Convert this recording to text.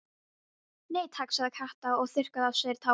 Nei takk sagði Kata og þurrkaði af sér tárin.